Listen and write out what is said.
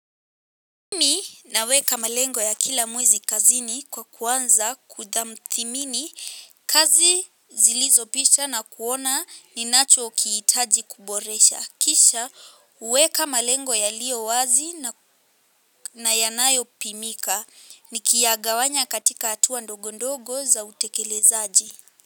Naweka malengo ya kila mwezi kazini kwa kuanza kutamthimini kazi zilizopita na kuona ninachokihitaji kuboresha. Kisha hueka malengo yaliyo wazi na yanayopimika. Nikiyagawanya katika hatua ndogo ndogo za utekelezaji.